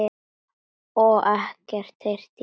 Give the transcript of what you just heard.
Og ekkert heyrt í henni?